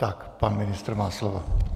Tak, pan ministr má slovo.